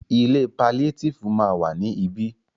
Ilé paliétífù ma wà ní ibí.